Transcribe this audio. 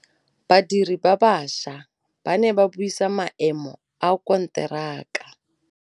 Badiri ba baša ba ne ba buisa maêmô a konteraka.